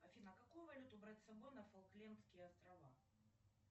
афина какую валюту брать с собой на фолклендские острова